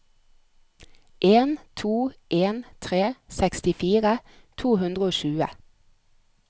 en to en tre sekstifire to hundre og tjue